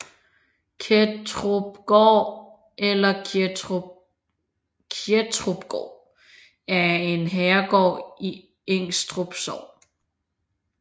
Kettrupgård eller Kjettrupgaard er en herregård i Ingstrup Sogn